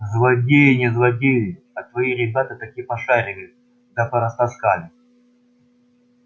злодеи не злодеи а твои ребята таки пошарили да порастаскали